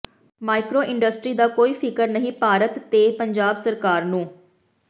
micro industry ਦਾ ਕੋਈ ਫਿਕਰ ਨਹੀਂ ਭਾਰਤ ਤੇ ਪੰਜਾਬ ਸਰਕਾਰ ਨੂੰ